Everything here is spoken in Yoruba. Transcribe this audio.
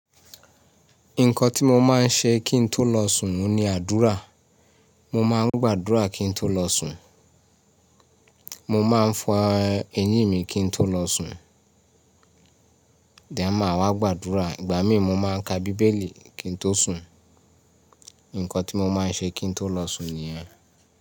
Nǹkan tí mo máa ń ṣe kí ń tó lọ sùn ni àdúrà. Mo máa ń gbàdúrà kí ń tó lọ sùn. Mo máa ń fọn eyín mi kí ń tó lọ sùn. Then máa wá gbàdúrà, ìgbà míì mo máa ń ka bíbélì kí n tó sùn. Nkan tí mo máa ń ṣe kí n tó lọ sùn ni yẹn.